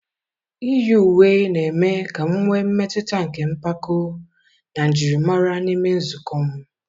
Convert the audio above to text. Iyi uwe na-eme ka m nwee mmetụta nke mpako na njirimara n'ime nzukọ m.